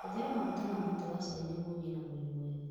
Hũthĩra maguta ma mũtĩ wa chai nĩguo ũgĩe na mwĩrĩ mwega.